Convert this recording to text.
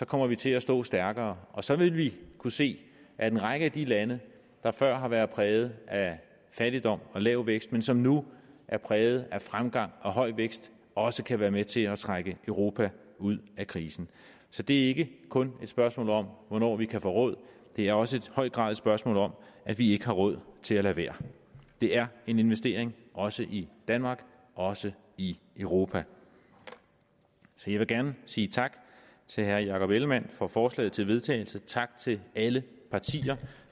kommer vi til at stå stærkere og så vil vi kunne se at en række af de lande der før har været præget af fattigdom og lav vækst men som nu er præget af fremgang og høj vækst også kan være med til at trække europa ud af krisen så det er ikke kun et spørgsmål om hvornår vi kan få råd det er også i høj grad et spørgsmål om at vi ikke har råd til at lade være det er en investering også i danmark og også i europa så jeg vil gerne sige tak til herre jakob ellemann jensen for forslaget til vedtagelse og tak til alle partier